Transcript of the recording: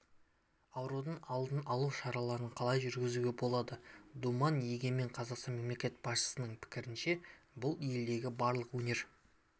аурудың алдын-алу шараларын қалай жүргізуге болады думан егемен қазақстан мемлекет басшысының пікірінше бұл елдегі барлық өнер